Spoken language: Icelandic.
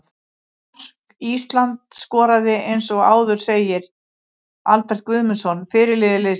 Mark Ísland skoraði eins og áður segir Albert Guðmundsson, fyrirliði liðsins.